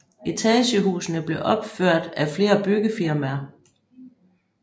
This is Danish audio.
Etagehusene blev opførte af flere byggefirmaer